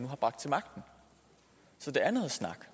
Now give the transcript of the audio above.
har bragt til magten så det er noget snak